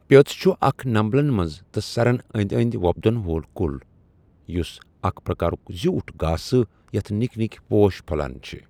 پیٔٛژ چھُ اَکھ نمبلن مَنٛز تہٕ سرَن أنٛدؠ أنٛدؠ وۄپدن وول کُل یُس اَکھ پرٛکارُک زیٛوٗٹھ گاسہٕ یَتھ نِکؠ نِکؠ پوش پھۄلان چِھ۔